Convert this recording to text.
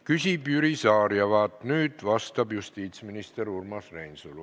Küsib Jüri Saar ja vaat nüüd vastab justiitsminister Urmas Reinsalu.